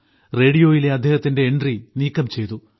റേഡിയോയിലെ അദ്ദേഹത്തിന്റെ എൻട്രി നീക്കം ചെയ്തു